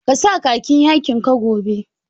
Ka sa khakin yakin ka gobe!